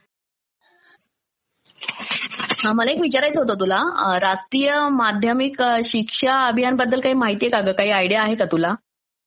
मला एक विचारायचं होतं तुला, राष्ट्रीय माध्यमिक शिक्षा अभियानबद्दल काही माहित आहे काग तुला, काही आयडीया आहे का ग तुला?